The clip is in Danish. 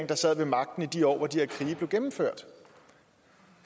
der sad ved magten i de år hvor de her krige blev gennemført